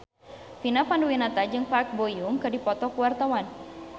Vina Panduwinata jeung Park Bo Yung keur dipoto ku wartawan